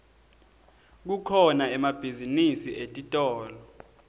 kukhona emabhizinisi etitolo